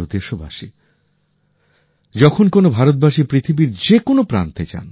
আমার প্রিয় দেশবাসী যখন কোন ভারতবাসী পৃথিবীর যেকোন প্রান্তে যান